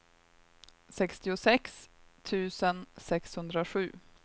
sextiosex tusen sexhundrasju